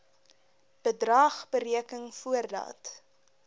bedrag bereken voordat